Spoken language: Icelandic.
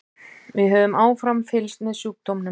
Við höfum áfram fylgst með sjúkdómnum.